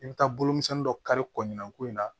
I bɛ taa bolomisɛnin dɔ kari kɔ mina ko in na